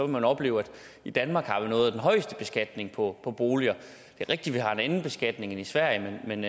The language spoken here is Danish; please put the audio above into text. man opleve at vi i danmark har noget af den højeste beskatning på boliger det er rigtigt at vi har en anden beskatning end i sverige men